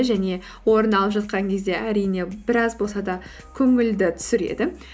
және орын алып жатқан кезде әрине біраз болса да көңілді түсіреді